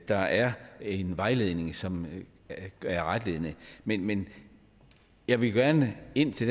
der er en vejledning som er retledende men men jeg ville gerne ind til